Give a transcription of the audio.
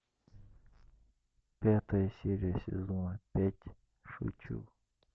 пятая серия сезона пять шучу